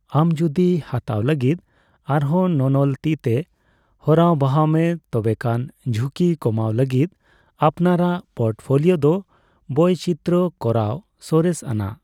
ᱟᱢ ᱡᱳᱫᱤ ᱦᱟᱛᱟᱣ ᱞᱟᱹᱜᱤᱫ ᱟᱨᱦᱚᱸ ᱱᱚᱱᱚᱞ ᱛᱤᱛᱮ ᱦᱚᱨᱟ ᱵᱟᱦᱟᱣ ᱢᱮ, ᱛᱚᱵᱮ ᱠᱷᱟᱱ ᱡᱷᱩᱸᱠᱤ ᱠᱚᱢᱟᱣ ᱞᱟᱹᱜᱤᱫ ᱟᱯᱱᱟᱨᱟᱜ ᱯᱳᱨᱴᱯᱷᱳᱞᱤᱭᱟᱹ ᱫᱚ ᱵᱚᱭᱪᱤᱛᱨᱚ ᱠᱚᱨᱟᱣ ᱥᱚᱨᱮᱥ ᱟᱱᱟᱜ ᱾